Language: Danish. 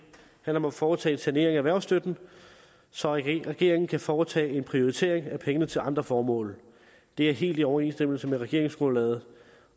om at foretage en sanering af erhvervsstøtten så regeringen kan foretage en prioritering af pengene til andre formål det er helt i overensstemmelse med regeringsgrundlaget